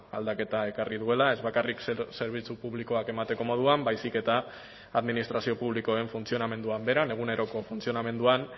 aldaketa ekarri duela ez bakarrik zerbitzu publikoak emateko moduan baizik eta administrazio publikoen funtzionamenduan beran eguneroko funtzionamenduan